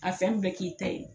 A fɛn bɛɛ k'i ta ye